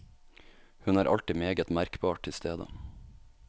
Hun er alltid meget merkbart til stede.